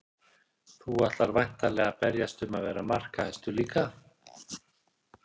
Þú ætlar væntanlega að berjast um að vera markahæstur líka?